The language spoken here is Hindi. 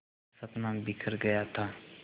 का सपना बिखर गया था